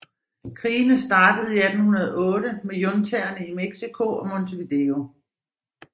Krigene startede i 1808 med juntaerne i México og Montevideo